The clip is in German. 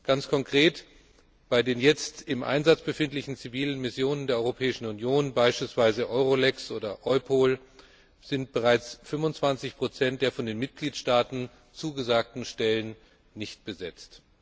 Ganz konkret Bei den jetzt im Einsatz befindlichen zivilen Missionen der Europäischen Union beispielsweise EULEX oder EUPOL sind bereits 25 der von den Mitgliedstaaten zugesagten Stellen nicht besetzt.